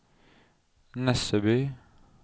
Nesseby